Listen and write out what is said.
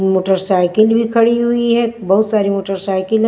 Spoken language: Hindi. मोटरसाइकिल भी खड़ी हुई है बहुत सारी मोटरसाइकिल है।